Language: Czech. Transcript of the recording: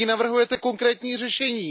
Jaké navrhujete konkrétní řešení?